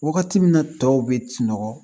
Wagati min na tɔw bɛ sunɔgɔ